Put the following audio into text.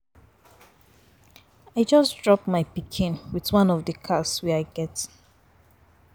I just drop my pikin with one of the cars I get.